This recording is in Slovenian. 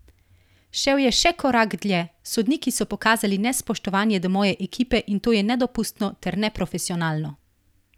Šel je še korak dlje: 'Sodniki so pokazali nespoštovanje do moje ekipe in to je nedopustno ter neprofesionalno.